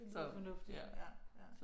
Det lyder fornuftigt ja ja